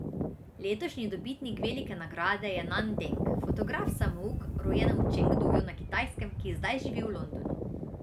Letošnji dobitnik velike nagrade je Nan Deng, fotograf samouk, rojen v Čengduju na Kitajskem, ki zdaj živi v Londonu.